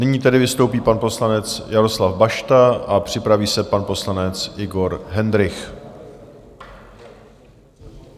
Nyní tedy vystoupí pan poslanec Jaroslav Bašta a připraví se pan poslanec Igor Hendrych.